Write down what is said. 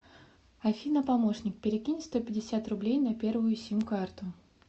афина помощник перекинь сто пятьдесят рублей на первую сим карту